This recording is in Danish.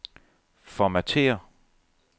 Formatér.